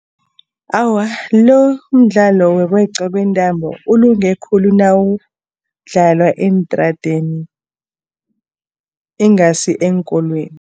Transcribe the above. Awa, lo umdlalo wokweqwa kwentambo ulunge khulu nawudlalwa eentradeni ingasi eenkolweni.